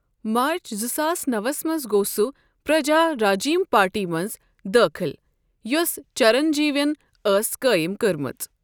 مارچ زٕ ساس نوو وس منٛز گوٚو سُہ پرجا راجیم پارٹی منٛز دٲخل یوٚس چرنجیوین ٲس قٲیم کٔرمٕژ۔